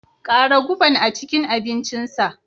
Ƙara guban a cikin abincinsa.